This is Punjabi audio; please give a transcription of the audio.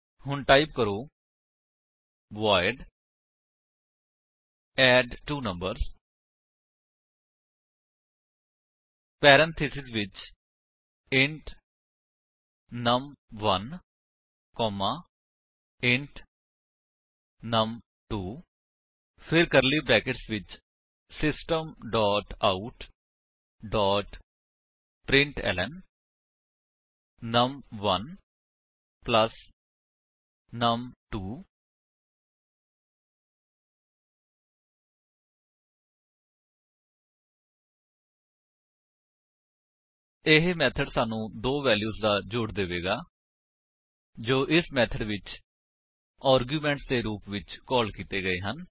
ਹੁਣ ਟਾਈਪ ਕਰੋ ਵੋਇਡ ਐਡਟਵੋਨੰਬਰਸ ਪੈਰੇਂਥੀਸਿਸ ਵਿੱਚ int num one comma int num two ਫਿਰ ਕਰਲੀ ਬਰੈਕੇਟਸ ਵਿੱਚ system dot out dot println num one plus num two ਇਹ ਮੇਥਡ ਸਾਨੂੰ ਦੋ ਵੇਲਿਊਸ ਦਾ ਜੋੜ ਦੇਵੇਗਾ ਜੋ ਇਸ ਮੇਥਡ ਵਿੱਚ ਆਰਗੁਮੇਂਟ ਦੇ ਰੂਪ ਵਿੱਚ ਕਾਲ ਕੀਤੇ ਗਏ ਹਨ